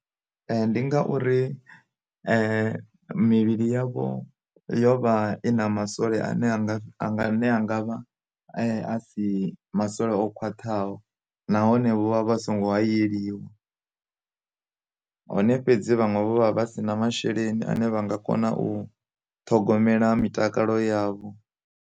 Ndi ngauri mivhili yavho yo vha i na masole a ne a ne a nga vha a si masole o khwaṱhaho nahone vho vha vha songo hayeliwa, hone fhedzi vhanwe vho vha vha si na masheleni ane vha nga kona u ṱhogomela mitakalo yavho.